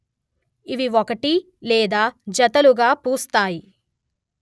ఇవి ఒకటి లేదా జతలుగా పూస్తాయి